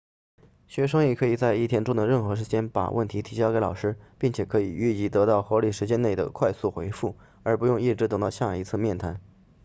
学生也可以在一天中的任何时间把问题提交给老师并且可以预期得到合理时间内的快速回复而不用一直等到下一次面谈